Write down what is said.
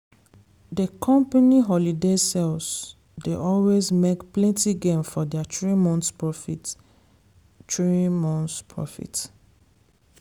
dey company holiday sales dey always make plenty gain for their three months profit. three months profit.